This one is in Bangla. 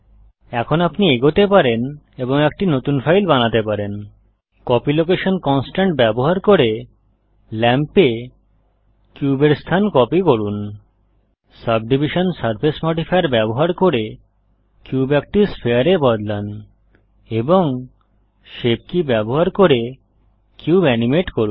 এখন আপনি এগোতে পারেন এবং একটি নতুন ফাইল বানাতে পারেন কপি লোকেশন কন্সট্রেন্ট ব্যবহার করে ল্যাম্পে কিউবের স্থান কপি করুন সাবডিভিশন সারফেস মডিফায়ার ব্যবহার করে কিউব একটি স্ফেয়ারে বদলান এবং শেপ কী ব্যবহার করে কিউব এনিমেট করুন